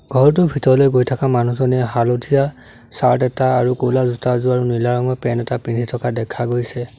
ঘৰটোৰ ভিতৰলৈ গৈ থকা মানুহজনে হালধীয়া চাৰ্ট এটা আৰু ক'লা জোতা এযোৰ আৰু নীলা ৰঙৰ পেণ্ট এটা পিন্ধি থকা দেখা গৈছে।